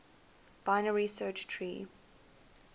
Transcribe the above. binary search tree